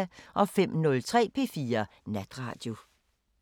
05:03: P4 Natradio